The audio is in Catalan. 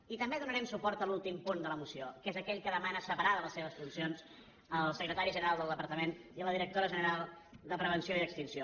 i també donarem suport a l’últim punt de la moció que és aquell que demana separar de les seves funcions el secretari general del departament i la directora general de prevenció i extinció